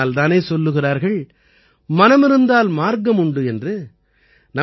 ஆகையினால் தானே சொல்கிறார்கள் மனமிருந்தால் மார்க்கமுண்டு என்று